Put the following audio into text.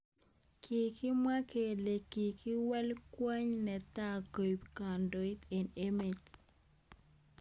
Kikimwa kele kikwei kwony netai koek kandoin eng emet.